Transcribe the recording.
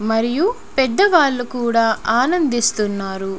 మరియు పెద్ద వాళ్ళు కూడా ఆనందిస్తున్నారు.